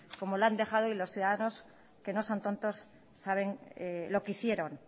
como lo han dejado y los ciudadanos que no son tontos saben lo que hicieron